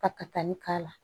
Ka kali k'a la